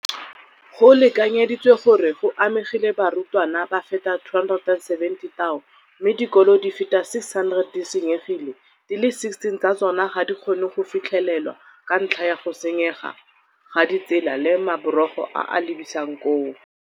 Go lekanyeditswe gore go amegile barutwana ba feta 270 000, mme dikolo di feta 600 di senyegile, di le 16 tsa tsona ga di kgone go fitlhelelwa ka ntlha ya go senyega ga ditsela le maborogo a a lebisang koo.